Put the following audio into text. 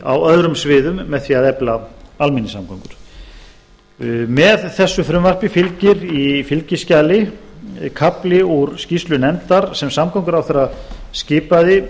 á öðrum sviðum með því að efla almenningssamgöngum með þessu frumvarpi fylgir í fylgiskjali kafli úr skýrslu nefndar sem samgönguráðherra skipaði